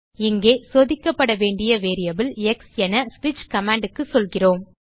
இங்கே சோதிக்கப்பட வேண்டிய வேரியபிள் எக்ஸ் என ஸ்விட்ச் கமாண்ட் க்கு சொல்கிறோம்